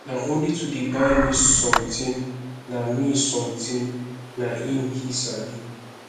na only to dey buy me something na me something na im he sabi